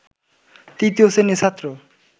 তৃতীয় শ্রেণির ছাত্র